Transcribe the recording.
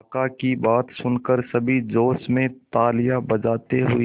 काका की बात सुनकर सभी जोश में तालियां बजाते हुए